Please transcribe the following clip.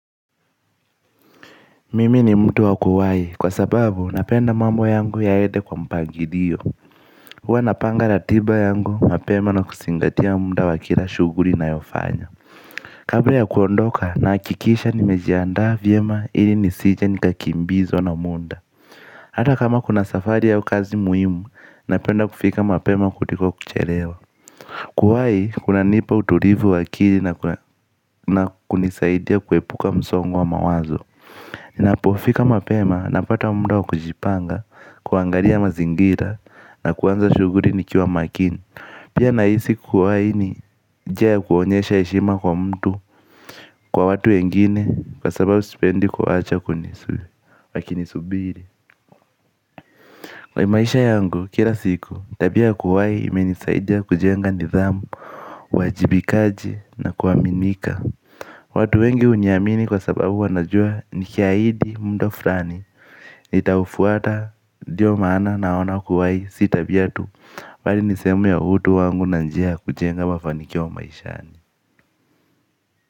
Mimi ni mtu wa kuwahi kwa sababu napenda mambo yangu yaende kwa mpangilio. Huwa napanga ratiba yangu mapema na kusingatia muda wa kila shughuri nayofanya. Kabla ya kuondoka nahakikisha nimejiandaa vyema ili nisije nikakimbizwa na muda. Hata kama kuna safari au kazi muhimu napenda kufika mapema kuliko kuchelewa. Kuwahi kunanipa uturivu wa akili na kunisaidia kuepuka msongo wa mawazo. Ninapofika mapema napata muda wa kujipanga kuangaria mazingira na kuanza shughuri nikiwa makini. Pia nahisi kuwahi ni njia ya kuonyesha heshima kwa mtu kwa watu wengine kwa sababu sipendi kuacha wakinisubiri. Kwa maisha yangu kira siku tabia ya kuwahi imenisaidia kujenga nidhamu, uwajibikaji na kuaminika. Watu wengi huniamini kwa sababu wanajua nikiahidi muda furani nitaufuata ndiyo maana naona kuwahi si tabia tu bali ni sehemu ya utu wangu na njia ya kujenga mafanikio maishani.